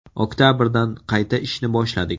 Oktabrdan qayta ishni boshladik.